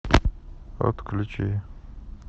отключи